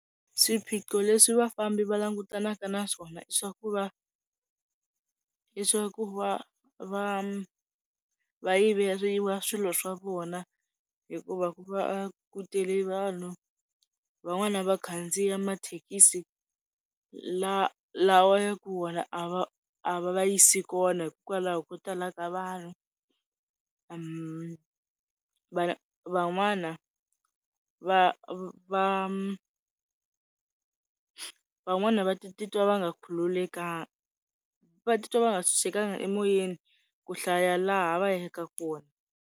Swiphiqo leswi vafambi va langutanaka na swona i swa ku va i swa ku va va yiveriwa swilo swa vona, hikuva ku va ku tele vanhu. Van'wana va khandziya mathekisi lawa ya ku wona a va va yisi kona hikokwalaho ko tala ka vanhu. vanhu van'wana va va, van'wana va titwa va nga khululekangi va titwa va nga titwa va nga ntshunxekangi emoyeni ku hlaya laha va ya ka kona.